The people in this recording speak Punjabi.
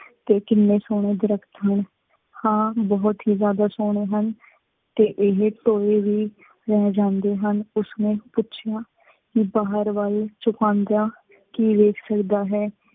ਅਤੇ ਕਿੰਨੇ ਸੋਹਣੇ ਦਰੱਖਤ ਹਨ। ਹਾਂ, ਬਹੁਤ ਹੀ ਜਿਆਦਾ ਸੋਹਣੇ ਹਨ ਤੇ ਇਹ ਤੋਂ ਇਹ ਵੀ ਰਹਿ ਜਾਂਦੇ ਹਨ। ਉਸ ਨੇ ਪੁੱਛਿਆ ਕਿ ਬਾਹਰ ਵਲ ਚੁਕਾਉਂਦਿਆਂ ਕੀ ਵੇਖ ਸਕਦਾ ਹੈ।